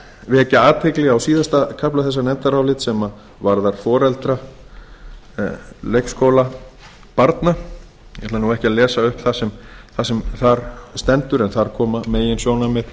vekja athygli á síðasta kafla þessa nefndarálits sem varðar foreldra leikskólabarna ég ætla ekki að lesa upp það sem þar stendur en þar koma meginsjónarmið